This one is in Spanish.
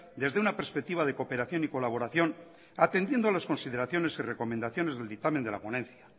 desde una perspectiva de cooperación y colaboración atendiendo a las consideraciones y recomendaciones del dictamen de la ponencia